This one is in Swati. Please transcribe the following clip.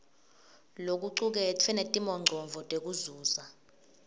lokucuketfwe netimongcondvo tekuzuza